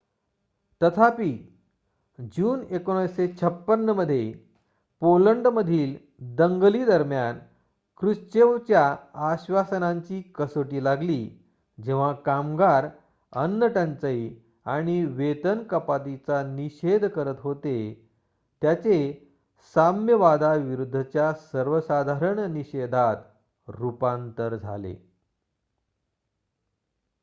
तथापि जून 1956 मध्ये पोलंडमधील दंगली दरम्यान क्रुश्चेवच्या आश्वासनांची कसोटी लागली जेव्हा कामगार अन्नटंचाई आणि वेतन कपातीचा निषेध करत होते त्याचे साम्यवादाविरूद्धच्या सर्वसाधारण निषेधात रुपांतर झाले